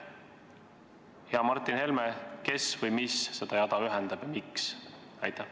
Hea Martin Helme, kes või mis seda jada ühendab ja miks?